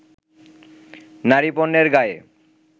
নারীপণ্যের গায়ে